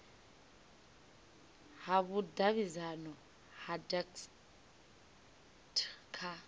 ha vhudavhidzano ha dacst kha